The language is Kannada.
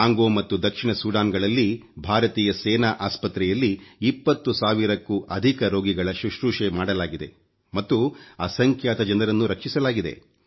ಕಾಂಗೋ ಮತ್ತು ದಕ್ಷಿಣ ಸೂಡಾನ್ ಗಳಲ್ಲಿ ಭಾರತೀಯ ಸೇನಾ ಆಸ್ಪತ್ರೆಯಲ್ಲಿ 20 ಸಾವಿರಕ್ಕೂ ಅಧಿಕ ರೋಗಿಗಳ ಶುಶ್ರೂಷೆ ಮಾಡಲಾಗಿದೆ ಮತ್ತು ಅಸಂಖ್ಯಾತ ಜನರನ್ನು ರಕ್ಷಿಸಲಾಗಿದೆ